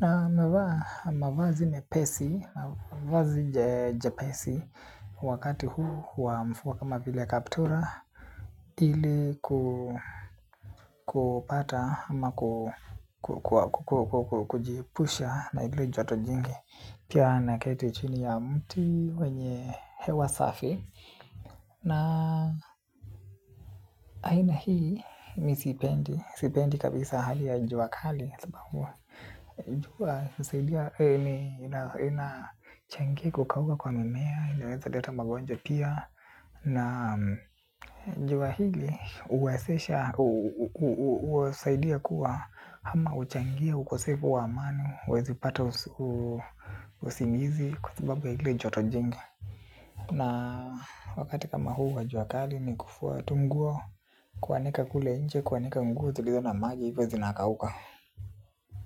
Na navaa mavazi mepesi mavazi jepesi wakati huu wa mvua kama vile kaptura. Ili kupata ama kujiepusha na ile joto jingi pia naketi chini ya mti wenye hewa safi na aina hii mi siipendi, sipendi kabisa hali ya n jua kali jua husaidia inachangia kukauka kwa mimea, inaweza leta magonjwa pia. Na jua hili huwezesha, husaidia kuwa ama huchangia ukosefu wa amani huwezi pata usingizi kwa sababu ya ile joto jingi. Na wakati kama huu wa jua kali ni kufua tu nguo. Kuanika kule ncje, kuanika nguo zilizo na maji hivyo zinakauka.